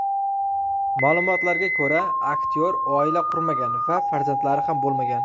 Ma’lumotga ko‘ra, aktyor oila qurmagan va farzandlari ham bo‘lmagan.